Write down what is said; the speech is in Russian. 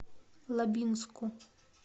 лабинску